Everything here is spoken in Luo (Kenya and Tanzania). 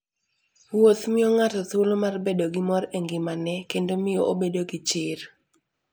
Wuoth miyo ng'ato thuolo mar bedo gi mor e ngimane kendo miyo obedo gi chir.